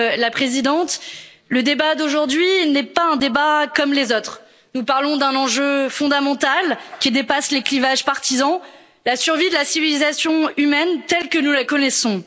Monsieur le Président, Madame la Présidente, le débat d'aujourd'hui n'est pas un débat comme les autres, nous parlons d'un enjeu fondamental qui dépasse les clivages partisans la survie de la civilisation humaine telle que nous la connaissons.